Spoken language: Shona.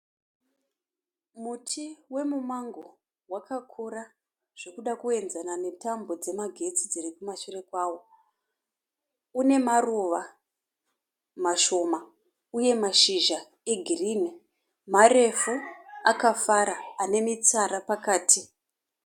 Muti wemumango wakakura zvekuda kuyenzana netambo dzemagetsi dziri kumashure kwawo, une maruva mashoma uye mashizha egirinhi, marefu, akafara, ane mitsara pakati.